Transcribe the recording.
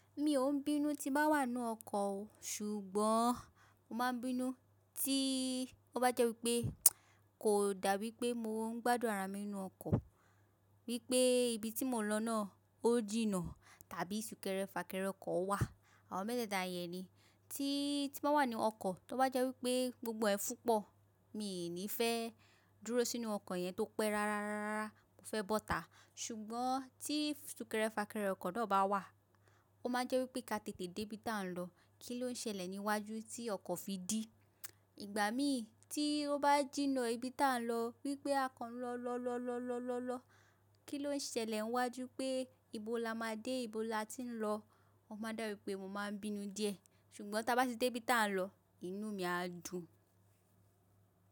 Mi ò ń bínú tí bá wà nínú ọkọ̀ o, ṣùgbọ́n mo máa ń bínú tí ó bá jẹ́ wípé kò dà wípé mo ń gbádùn ara mi nínú ọkọ̀, wípé ibi tí mò ń lọ náà ó jìnnà tàbí súnkẹrẹ fàkẹrẹ ọkọ̀ wà. Àwọn mẹ́tẹ́ẹ̀ta yẹn ni tí, tí bá wà nínú ọkọ̀, tí ó bá jẹ́ wípé gbogbo ẹ fúpọ̀, mi ò ní fẹ́ dúró sínú ọkọ̀ yẹn tó pẹ́ rárá rárá rárá, mo fẹ́ bọ́ta. Ṣùgbọ́n tí súnkẹrẹ fàkẹrẹ ọkọ̀ náà bá wà, ó máa ń jẹ́ wípé ká tètè dé ibi tí à ń lọ. Kí ló ń ṣẹlẹ̀ níwájú tí ọkọ̀ fi dí? Ìgbà mí tí ó bá jìnnà ibi tí à ń lọ wípé a kan lọ, lọ, lọ, lọ, lọ, lọ, lọ. Kí ló ń ṣẹlẹ̀ niwájú pé ibo la máa dé? Ibo la tí ń lọ? Ó máa dàwípé mo máa bínú díẹ̀, ṣùgbọ́n tí aa bá ti dé ibi tí à ń lọ, inú mi á dùn.